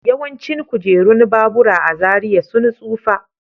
Yawancin kujerun babura a Zaria sun tsufa.